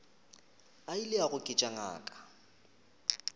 a ile a goketša ngaka